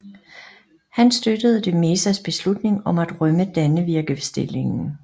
Han støttede de Mezas beslutning om at rømme Dannevirkestillingen